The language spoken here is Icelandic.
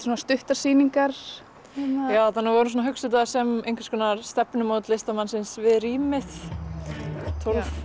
svona stuttar sýningar já við vorum að hugsa þetta sem einhvers konar stefnumót listamannsins við rýmið tólf